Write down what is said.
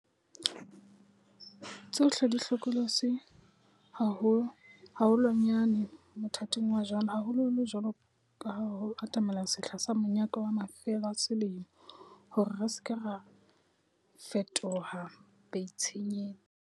Tsohle di hlokolotsi haho lwanyane mothating wa jwale, haholoholo jwaloka ha ho atamela sehla sa monyaka wa mafelo a selemo, hore re se ke ra fetoha baitshenyetsi.